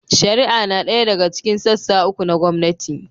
Shari'a na ɗaya daga cikin sassa uku na gwamnati.